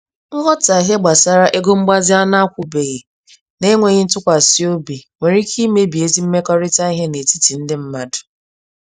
Nghọtahie gbasara ego mgbazi a n'akwụbwghị, na enweghị ntụkwasị obi, nwere ike imebi ezi mmekọrịta ìhè n'etiti ndị mmadụ